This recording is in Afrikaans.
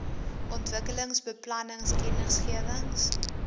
ontwikkelingsbeplanningkennisgewings